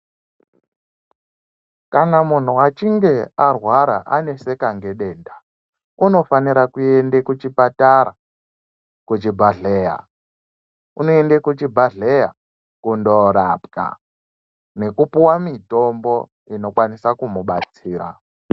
Kana munhu achinge arwara aneseka ngedenda unofanire kuende kuchipatara kuchibhadhleya unoende kuchibhadhleya kundorapwa nekupuwa mutombo dzinokwanise kumubatsira.